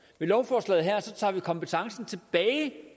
med lovforslaget her tager vi kompetencen tilbage